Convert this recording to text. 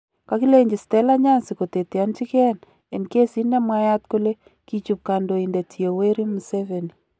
Kagilenji Stella Nyanzi koteteonji gen en kesit nemwayat kole kichup kandoindet Yoweri Museveni.